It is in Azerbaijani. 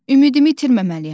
Ümidimi itirməməliyəm.